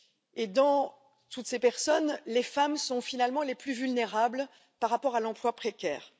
Et, parmi toutes ces personnes, les femmes sont finalement les plus vulnérables face à l'emploi précaire.